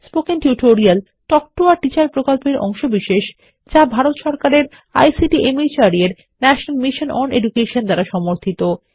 spoken tutorial talk to a teacher প্রকল্পের অংশবিশেষ যা ভারত সরকারের আইসিটি মাহর্দ এর ন্যাশনাল মিশন ওন এডুকেশন দ্বারা সমর্থিত